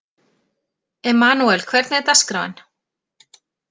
Emmanúel, hvernig er dagskráin?